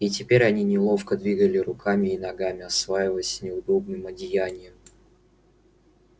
и теперь они неловко двигали руками и ногами осваиваясь с неудобным одеянием